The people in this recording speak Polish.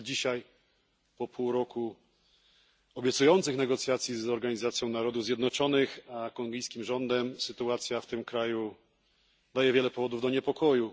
Ale dzisiaj, po pół roku obiecujących negocjacji między Organizacją Narodów Zjednoczonych a kongijskim rządem, sytuacja w tym kraju daje wiele powodów do niepokoju.